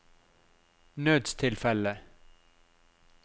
nødstilfelle